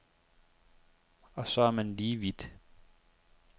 Og så er man lige vidt.